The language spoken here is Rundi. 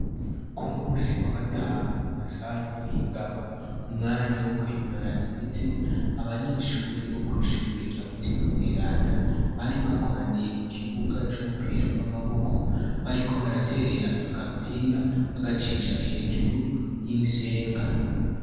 Ku munsi wa gatanu mu masaha y'umuhingamo mu mwanya wo kwinonora imitsi. Abanyeshure bo kw'ishure rya Mutima Mweranda bari bakoraniye ku kibuga c'umupira w'amaboko bariko baraterera agapira bagacisha hejuru y'insenga.